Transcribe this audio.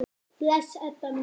Bless, Edda mín.